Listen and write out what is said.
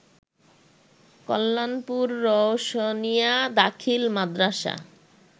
কল্যাণপুর রওশনিয়া দাখিল মাদ্রাসা